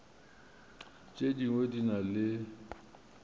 tše dingwe di na le